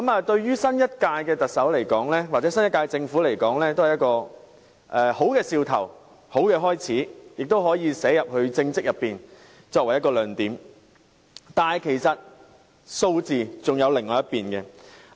對於新任特首或新一屆政府而言，這是好兆頭和好開始，亦可作為其政績的一個亮點，但其實還有另一方面的數據。